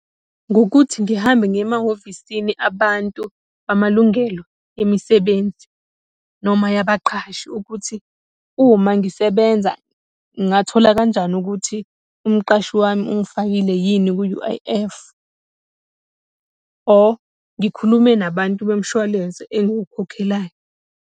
Ngokuthi ngihambe ngiye emahhovisini abantu amalungelo emisebenzi noma yabaqhashi, ukuthi uma ngisebenza ngingathola kanjani ukuthi umqashi wami ungifakile yini ku-U_I_F. Or ngikhulume nabantu bemshwalense engukhokhelayo.